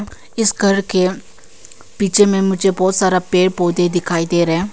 इस घर के पीछे में मुझे बहुत सारा पेड़ पौधे दिखाई दे रहा है।